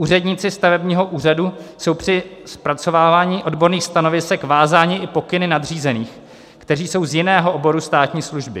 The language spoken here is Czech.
Úředníci stavebního úřadu jsou při zpracovávání odborných stanovisek vázáni i pokyny nadřízených, kteří jsou z jiného oboru státní služby.